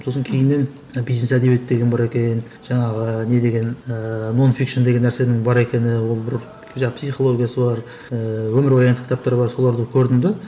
сосын кейіннен бизнес әдебиет деген бар екен жаңағы не деген ііі мон фикшн деген нәрсенің бар екені ол бір жаңа психологиясы бар ііі өмірбаяндық кітаптар бар соларды көрдім де